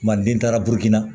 Kumaden taara burukina